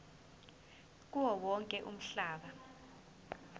kuwo wonke umhlaba